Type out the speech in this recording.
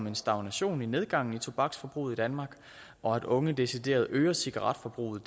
en stagnation i nedgangen i tobaksforbruget i danmark og at unge decideret øger cigaretforbruget